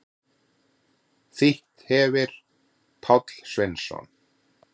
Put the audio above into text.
Þýtt hefir Páll Sveinsson.